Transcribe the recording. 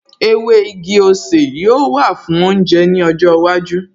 Ewé igi-osè yóò wà fún oúnjẹ ní ọjọ́ iwájú